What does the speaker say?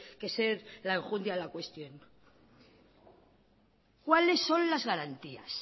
que ser la enjundia de la cuestión cuáles son las garantías